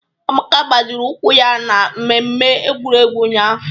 Amaka gbajiri ụkwụ ya na mmemme egwuregwu ụnyahụ